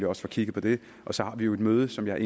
også få kigget på det og så har vi jo et møde som jeg